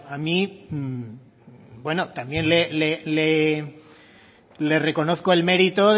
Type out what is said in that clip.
también le reconozco el mérito